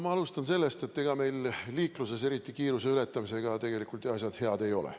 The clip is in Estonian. Ma alustan sellest, et ega meil liikluses eriti just kiiruse ületamisega asjad ju head ei ole.